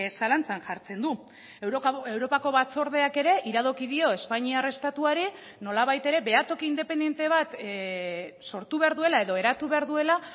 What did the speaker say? zalantzan jartzen du europako batzordeak ere iradoki dio espainiar estatuari nolabait ere behatoki independente bat sortu behar duela edo eratu behar duela